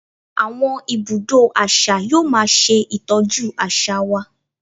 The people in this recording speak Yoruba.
Àwọn ibùdó àṣà yóò máa ṣe Ìtọ́jú àṣà wa.